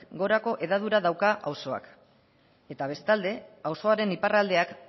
gorako hedadura dauka auzoak eta bestalde auzoaren iparraldeak